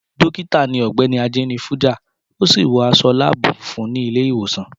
Dókítà ni Ọ̀gbẹ́ni Ajenifuja, ó sì wọ aṣọ láàbù funfun ní ilé ìwòsàn.